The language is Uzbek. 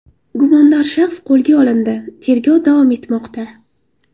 Gumondor shaxs qo‘lga olindi, tergov davom etmoqda.